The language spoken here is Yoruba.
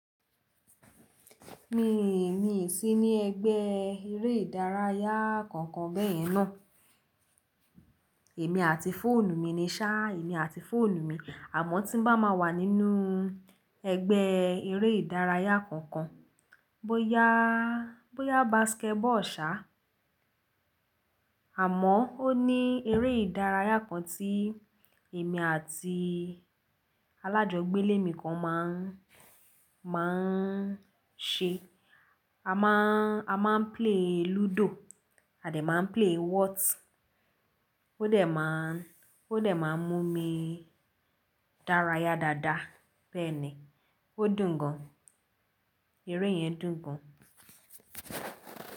Mi, mi sì ní ẹgbẹ́ eré ìdárayá kankan bẹ́ẹ̀ yẹn náà. Èmi àti fóònù mi ni, ṣá, èmi àti fóònù mi àmọ́ tí ń bá máa wà nínú ẹgbẹ́ eré ìdárayá kankan, bóyá, bóyá basketball, ṣá. Àmọ́ ó ní eré ìdárayá kan tí èmi àti alájogbé ilé mi kan máa ń, máa ń ṣe. A máa ń, a máa ń play ludo à dé máa ń play what. Ó dẹ̀ máa ń, ó dẹ̀ máa ń mú mi dárayá dáadáa bẹ́ẹ̀ ni. Ó dùn gan. Eré yẹn dùn gan.